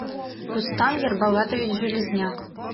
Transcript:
рустам ербалатович железняк